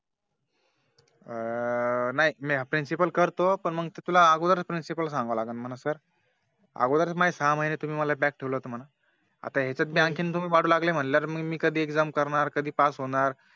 अं नाही Principal करतो पण तुला ते अगोदर Principal ला सांगावं लगीन Sir अगोदर माझ्या सहा महिने तुम्ही मला back ठेवलं होत म्हण आता यांच्यात आणखी तुम्ही वाढ लागली म्हटलं तर मी कधी Exam करणार कधी Pass होणार